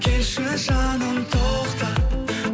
келші жаным тоқта